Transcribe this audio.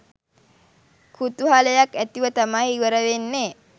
කුතුහලයක් ඇතිව තමයි ඉවර වෙන්නේ